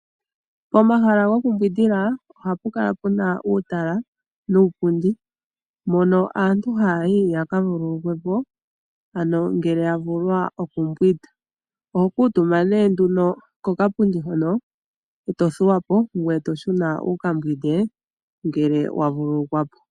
Momahala gokumbwindila ohapu kala puna uutala nuupundi mono aantu hayayi yakavululukwe po ngele yavulwa okumbwinda, oho kuutumba ne nduno kokapundi hono eto thuwa po ngoye toshuna wukambwinde ngele wa vululukwa po.